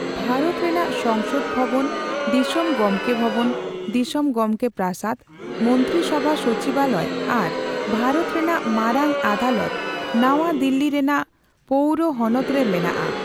ᱵᱷᱟᱨᱚᱛ ᱨᱮᱱᱟᱜ ᱥᱚᱝᱥᱚᱫ ᱵᱷᱚᱵᱚᱱ, ᱫᱤᱥᱚᱢ ᱜᱚᱝᱠᱮ ᱵᱷᱚᱵᱚᱱ ( ᱫᱤᱥᱚᱢ ᱜᱚᱢᱠᱮ ᱯᱨᱟᱥᱟᱫ ), ᱢᱚᱱᱛᱨᱤ ᱥᱚᱵᱷᱟ ᱥᱚᱪᱤᱵᱟᱞᱚᱭ ᱟᱨ ᱵᱷᱟᱨᱚᱛ ᱨᱮᱱᱟᱜ ᱢᱟᱨᱟᱝ ᱟᱫᱟᱞᱚᱛ ᱱᱟᱣᱟ ᱫᱤᱞᱞᱤ ᱨᱮᱱᱟᱜ ᱯᱳᱣᱨᱚ ᱦᱚᱱᱚᱛ ᱨᱮ ᱢᱮᱱᱟᱜᱼᱟ ᱾